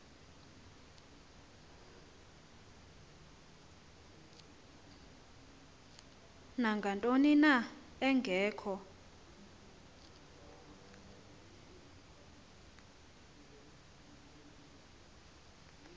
nangantoni na engekho